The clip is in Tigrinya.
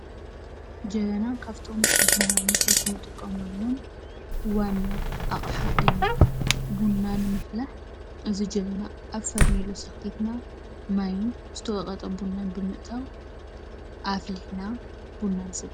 ጀበና ካብቶም ቡና መፍልሒ ንጥቀመሎም ዋና ኣቕሓ እዩ፡፡ ቡና ንምፍላሕ ኣብዚ ጀበና ኣብ ፈርኔሎ ሰቒልና ማይን ዝተወቐጠ ቡና ብምእታው ኣፍሊሕና ቡና ንሰቲ፡፡